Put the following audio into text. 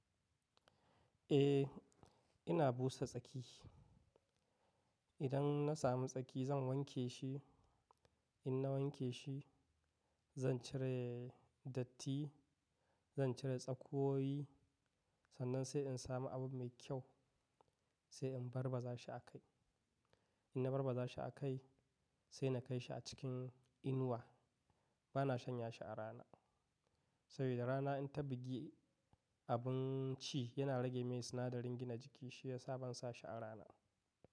Eh, ina busa tsaki. Idan na samu tsaki zan wanke shi. In na wanke shi, zan cire datti, zan cire tsakuwoyi. Sannan sai in samu abu mai kyau, sai in barbaza shi a kai. In na barbaza shi a kai, sai na kai shi a cikin inuwa. Ba na shanya shi a rana. Saboda rana in ta bugi abinci yana rage mai sinadarin gina jiki, shi ya sa ban sa shi a rana ba.